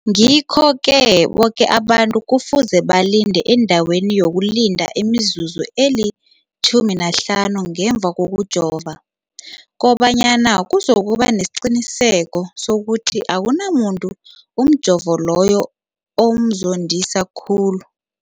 Ngikho-ke boke abantu kufuze balinde endaweni yokulinda imizuzu eli-15 ngemva kokujova, koba nyana kuzokuba nesiqiniseko sokuthi akunamuntu umjovo loyo omzondisa khulu.